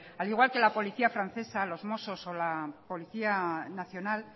al igual que la policía francesa los mossos o la policía nacional